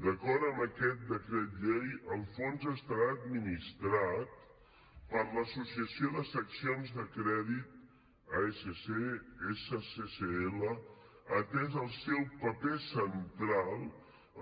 d’acord amb aquest decret llei el fons estarà administrat per l’associació de seccions de crèdit asc sccl atès el seu paper central